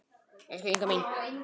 Elsku Inga mín.